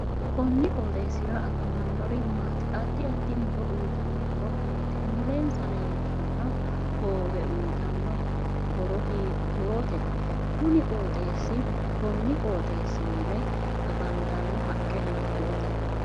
Konni qoxeesira afamannori maati addi addi muro uyiitanno horo maati mulensa leeltanno hoowe uyiitanno horo hiitoote kunni qoxeesi mule afantanno haqqe hiitoote